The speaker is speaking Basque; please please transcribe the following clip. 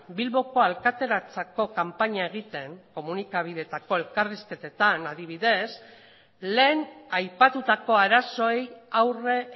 bilboko alkateratzako kanpaina egiten komunikabideetako elkarrizketetan adibidez lehen aipatutako arazoei aurre